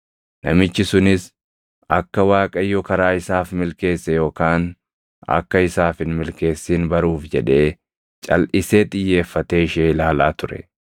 Namichi sunis akka Waaqayyo karaa isaaf milkeesse yookaan akka isaaf hin milkeessin baruuf jedhee calʼisee xiyyeeffatee ishee ilaalaa ture.